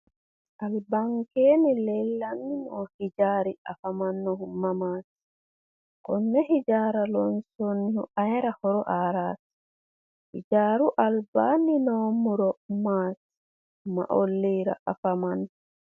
albankeenni leellanni noo ijaari afamannohu mamaati? konne hijaara loonsoonnihu ayeera horo aaraati? hijaaru albaanni noo muro maati? ma olliira afamanno?